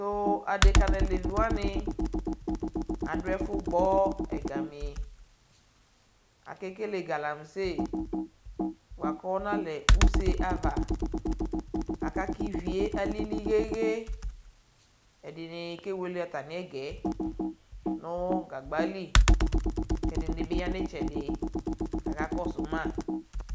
Tuu adeka naleviwani adu ɛfu gbɔ ɛgamii akekele galamse bua kɔnalɛ usee ava aka kivie alili ɣeɣe ɛdini kewele atamiɛgɛ nuu gagbali kɛdini bi ya nitsɛdi kaka kɔsuu ma T